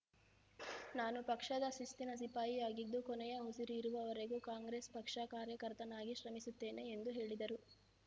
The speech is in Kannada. ನಾನು ಪಕ್ಷದ ಶಿಸ್ತಿನ ಸಿಪಾಯಿಯಾಗಿದ್ದು ಕೊನೆಯ ಉಸಿರು ಇರುವವರೆಗೂ ಕಾಂಗ್ರೆಸ್‌ ಪಕ್ಷ ಕಾರ್ಯಕರ್ತನಾಗಿ ಶ್ರಮಿಸುತ್ತೇನೆ ಎಂದು ಹೇಳಿದರು